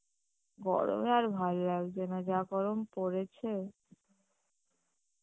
গরমে আর ভাল লাগছে না যা গরম পড়েছে